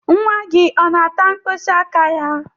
Nwa gị ọ na-ata mkpịsị aka ya?